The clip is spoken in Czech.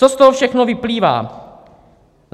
Co z toho všechno vyplývá?